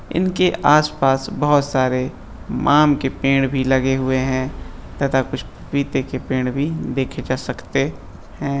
इनके आस-पास बहुत सारे माम के पेड़ भी लगे हुए हैं तथा कुछ पपीते के पेड़ भी देखे जा सकते हैं।